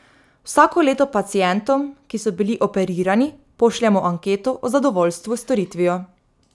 Vsako leto pacientom, ki so bili operirani, pošljemo anketo o zadovoljstvu s storitvijo.